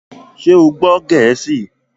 Ṣé o gbọ́ Gẹ̀ẹ́sì?